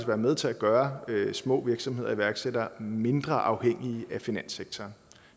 være med til at gøre små virksomheder og iværksættere mindre afhængige af finanssektoren